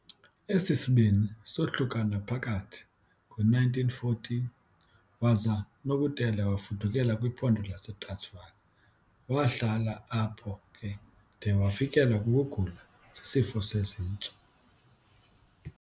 Esi sibini soohlukana phakathi ngo-1914, waza uNokutela wafudukela kwiPhondo laseTransvaal wahlala apho ke de wafikelwa kukugula sisifo sezintso.